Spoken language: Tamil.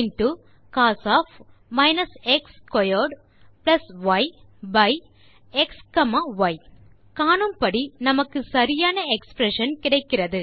integrateeஇன்டோ cos எக்ஸ் ஸ்க்வேர்ட் ய்by xy காணும்படி நமக்கு சரியான எக்ஸ்பிரஷன் கிடைக்கிறது